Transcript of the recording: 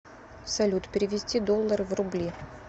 салют перевести доллары в рубли